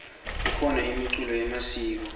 kukhona imiculo yemasiko